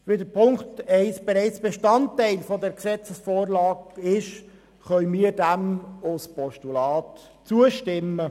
Da dieser bereits Bestandteil dieser Gesetzesvorlage ist, können wir diesem als Postulat zustimmen.